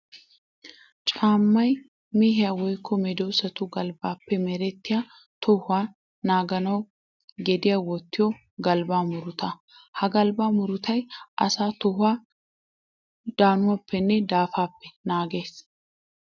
Caamay mehiya woykko medosattu galbbappe merettiya tohuwaa naaganawu gediyan wottiyo galbba murutta. Ha galbbaa muruttay asaa tohuwa danuwappenne daafappe naages.